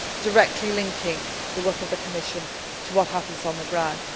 as well, directly linking the work of the Commission to what happens on the ground.